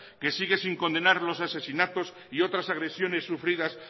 que sigue sin condenar los asesinatos y otras agresiones sufridas